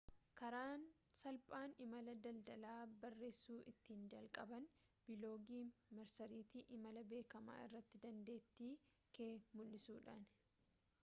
karaan salphaan imala daldalaa barreessuu ittiin jalqaban biloogii marsariitii imala beekamaa irratti dandeettii kee mullisuudhaani